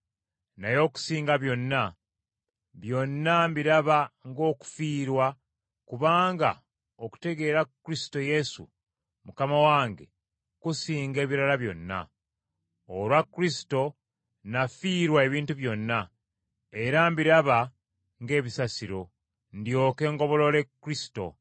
Naye okusinga byonna, byonna mbiraba ng’okufiirwa, kubanga okutegeera Kristo Yesu Mukama wange, kusinga ebirala byonna. Olwa Kristo nafiirwa ebintu byonna, era mbiraba ng’ebisasiro, ndyoke ngobolole Kristo,